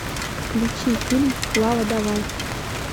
включи фильм клава давай